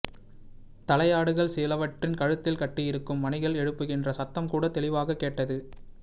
தலையாடுகள் சிலவற்றின் கழுத்தில் கட்டியிருக்கும் மணிகள் எழுப்புகின்ற சத்தம் கூட தெளிவாகக் கேட்டது